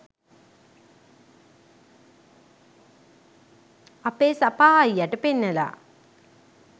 අපේ සපා අයියට පෙන්නලා